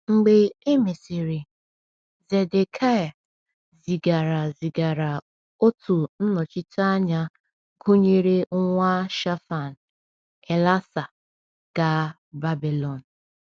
Mgbe e mesịrị, Zedekịa zigara zigara otu nnọchiteanya gụnyere nwa Shaphan, Elasah, gaa Babilọn.